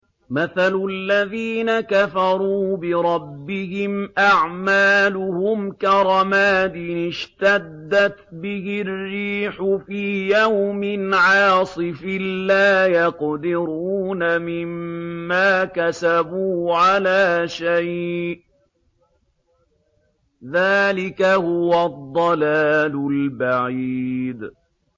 مَّثَلُ الَّذِينَ كَفَرُوا بِرَبِّهِمْ ۖ أَعْمَالُهُمْ كَرَمَادٍ اشْتَدَّتْ بِهِ الرِّيحُ فِي يَوْمٍ عَاصِفٍ ۖ لَّا يَقْدِرُونَ مِمَّا كَسَبُوا عَلَىٰ شَيْءٍ ۚ ذَٰلِكَ هُوَ الضَّلَالُ الْبَعِيدُ